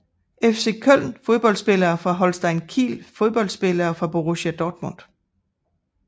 FC Köln Fodboldspillere fra Holstein Kiel Fodboldspillere fra Borussia Dortmund